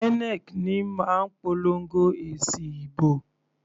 INEC ní máa ń polongo èsì ìbò.